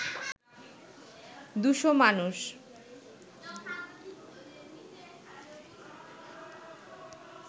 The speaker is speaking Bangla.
দুশো মানুষ